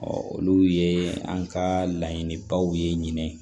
olu ye an ka laɲinibaw ye ɲinɛ